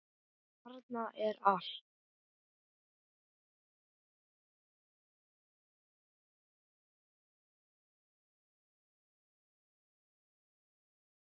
Þarna er allt.